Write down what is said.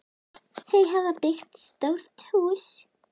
Þau hafa byggt stórt hús.